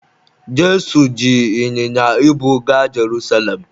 Jesu ji ịnyịnya ibu gaa Jerusalem